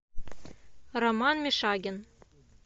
роман мишагин